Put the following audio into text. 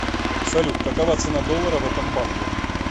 салют какова цена доллара в этом банке